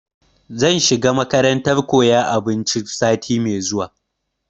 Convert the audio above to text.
Zan shiga makarantar koyan abinci sati mai zuwa